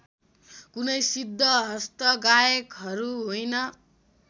कुनै सिद्धहस्त गायकहरू होइन